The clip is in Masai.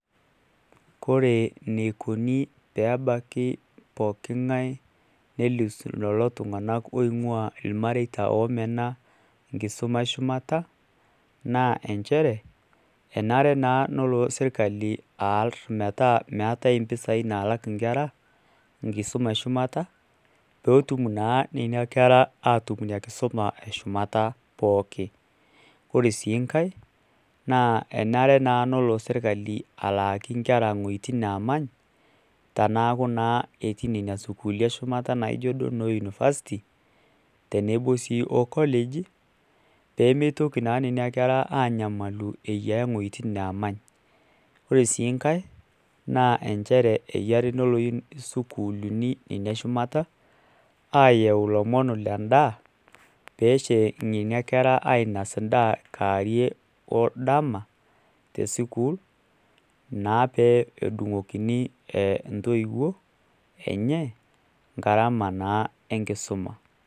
Ore eneikoni peebaki pooking'ae nelus lelo tung'anak oooingu'ua irmareita oomena enkisuma eshumata inchere enare naa nelo sirkali aar metaaeetai impisai nalak inkera enkisuma eshumata peetum naa aatum enkisuma eshumata pooki ore sii nkae naa enare naa nelo sirkali alaaki ikanijik naamany teneeku naa epuo nena sukuulini naijio University tenebo college peeitoki naa nena kera aanyamalu eyiaya wuetin naamany ore sii nkae naa enare nelo sukuulini ine shumata aayau ilomon le ndaa ainas endaa dama te school naa peetumoki intoiwuo garama naa enkisuma.